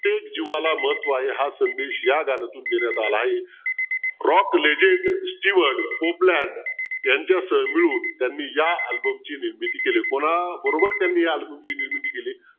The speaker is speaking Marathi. प्रत्येक जीवाला महत्व आहे हा संदेश या गाण्यातून देण्यात आला आहे यांच्यसह मिळून त्यांनी या album ची निर्मिती केलीये कोणाबरोबर त्यांनी या album ची निर्मिती केलीये